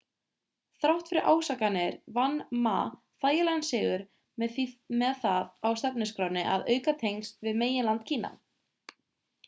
þrátt fyrir ásakanirnar vann ma þægilegan sigur með það á stefnuskránni að auka tengsl við meginland kína